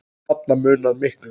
Þarna munar miklu.